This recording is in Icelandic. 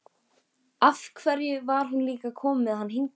Af hverju var hún líka að koma með hann hingað?